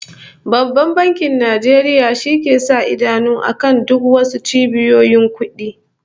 Babban Bankin Nigeria shi ke sa idanu akan duk was cibiyoyin kudi